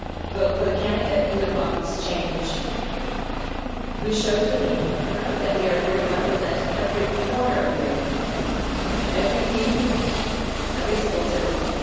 Vote for the candidate who embodies change and who shows the people of Europe that we are here to represent every corner of Europe, every viewpoint, every single citizen.